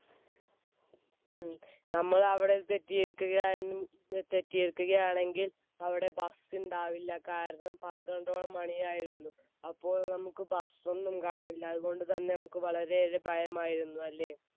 മ്മ്, നമ്മൾ അവിടെ തെറ്റിയിരിക്കുകയാ ~തെറ്റിയിരിക്കുകയാണെങ്കിൽ അവിടെ ഭക്ഷണം ഉണ്ടാവില്ല. കാരണം പന്ത്രണ്ടോളം മണിയായിരുന്നു, അപ്പോൾ നമുക്ക് ഭക്ഷണം ഒന്നും കാണില്ല, അതുകൊണ്ട് തന്നെ നമുക്ക് വളരെയേറെ ഭയമായിരുന്നു അല്ലേ?